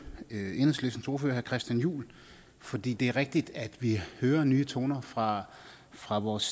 enhedslistens ordfører herre christian juhl fordi det er rigtigt at vi hører nye toner fra fra vores